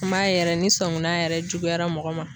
Maa yɛrɛ ni sɔngunan yɛrɛ juguyara mɔgɔ ma